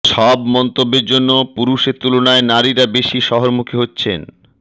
সব মন্তব্যের জন্য পুরুষের তুলনায় নারীরা বেশি শহরমুখী হচ্ছেন